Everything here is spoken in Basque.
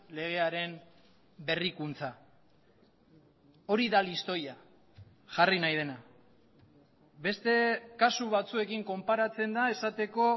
legearen berrikuntza hori da listoia jarri nahi dena beste kasu batzuekin konparatzen da esateko